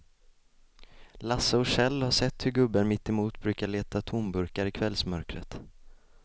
Lasse och Kjell har sett hur gubben mittemot brukar leta tomburkar i kvällsmörkret.